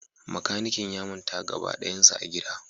Makanikin ya manta gaba dayansa a gida